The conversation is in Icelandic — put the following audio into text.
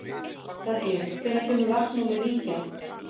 Berglín, hvenær kemur vagn númer nítján?